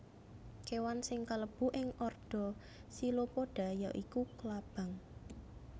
Kéwan sing kalebu ing ordo Chilopoda ya iku klabang